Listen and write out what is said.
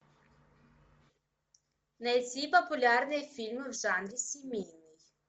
найти популярные фильмы в жанре семейный